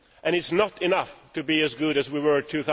It is not enough to be as good as we were in